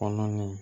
Kɔnɔ ni